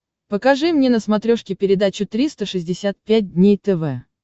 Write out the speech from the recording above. покажи мне на смотрешке передачу триста шестьдесят пять дней тв